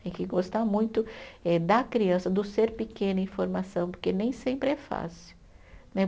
Tem que gostar muito eh da criança, do ser pequeno em formação, porque nem sempre é fácil, né?